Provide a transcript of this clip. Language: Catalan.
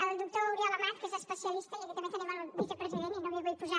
el doctor oriol amat que n’és especialista i aquí també tenim el vicepresident i no m’hi vull posar